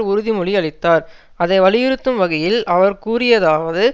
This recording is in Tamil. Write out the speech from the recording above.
உறுதிமொழியளித்தார் அதை வலியுறுத்தும் வகையில் அவர் கூறியதாவது